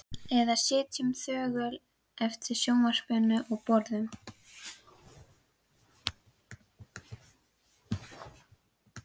Eða sitjum þögul yfir sjónvarpinu og borðum.